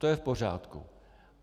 To je v pořádku.